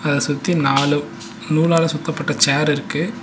அத சுத்தி நாலு நூலால சுத்தப்பட்ட சேர் இருக்கு.